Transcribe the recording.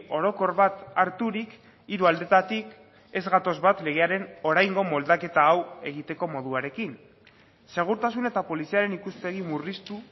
orokor bat harturik hiru aldetatik ez gatoz bat legearen oraingo moldaketa hau egiteko moduarekin segurtasun eta poliziaren ikuspegi murriztu